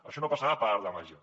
això no passarà per art de màgia